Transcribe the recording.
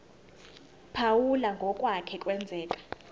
phawula ngokwake kwenzeka